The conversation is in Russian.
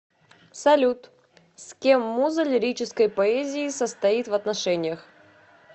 салют с кем муза лирической поэзии состоит в отношениях